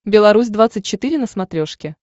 белорусь двадцать четыре на смотрешке